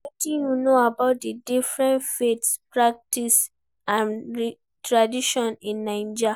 Wetin you know about di different faith practices and traditions in Naija?